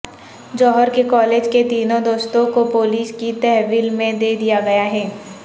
جوہر کے کالج کے تینوں دوستوں کو پولیس کی تحویل میں دے دیا گیا ہے